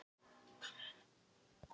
Verður þetta strákur?